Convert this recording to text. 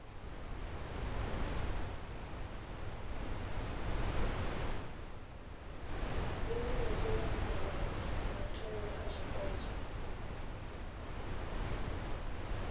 furemiweke ya mbekanyamaitele a zwipotso